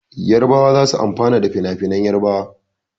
Yarbawa za su amfana da finafinan Yarbawa.